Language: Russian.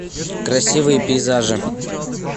красивые пейзажи